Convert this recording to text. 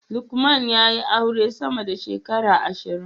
Lukman ya yi aure sama da shekara ashirin